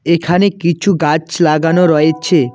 এখানে কিছু গাছ লাগানো রয়েছে।